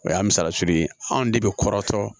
O y'a misaliya tigi ye anw de bɛ kɔrɔtɔ